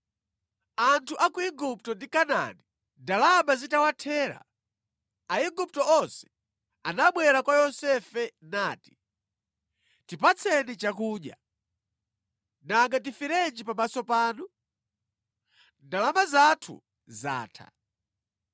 Anthu a ku Igupto ndi Kanaani ndalama zitawathera, Aigupto onse anabwera kwa Yosefe nati, “Tipatseni chakudya. Nanga tiferenji pamaso panu? Ndalama zathu zatha.”